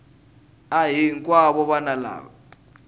a hi hinkwavo vana lava